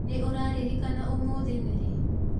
Nĩũraririkana ũmũthĩ nĩrĩ?